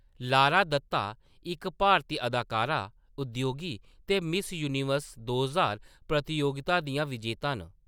Lara Dutta इक भारती अदाकारा, उद्योगी ते मिस यूनिवर्स दो ज्हार प्रतियोगिता दियां विजेता न।